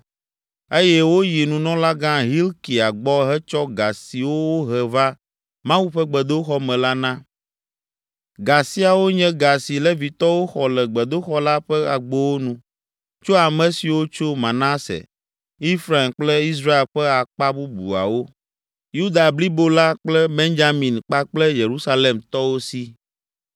Eye woyi Nunɔlagã Hilkia gbɔ hetsɔ ga siwo wohe va Mawu ƒe gbedoxɔ me la na. Ga siawo nye ga si Levitɔwo xɔ le gbedoxɔ la ƒe agbowo nu tso ame siwo tso Manase, Efraim kple Israel ƒe akpa bubuawo, Yuda blibo la kple Benyamin kpakple Yerusalemtɔwo si.